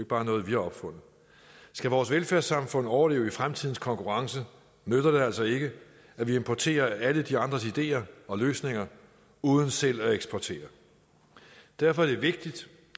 bare noget vi har opfundet skal vores velfærdssamfund overleve i fremtidens konkurrence nytter det altså ikke at vi importerer alle de andres ideer og løsninger uden selv at eksportere derfor er det vigtigt